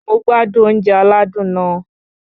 Mo gbádùn oúnjẹ aládùn náà